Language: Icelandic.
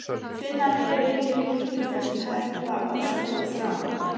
Finna nýju lífi líkingar sem hæfa óskum og þrám.